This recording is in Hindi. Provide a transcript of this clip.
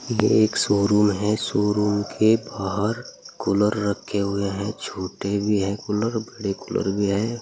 ये एक शोरूम है शोरूम के बाहर कूलर रखे हुए है छोटे भी है कूलर बड़े भी है।